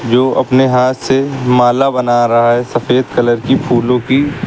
जो अपने हाथ से माला बना रहा है सफेद कलर की फूलों की।